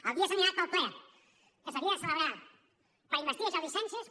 el dia assenyalat per al ple que s’havia de celebrar per investir jordi sànchez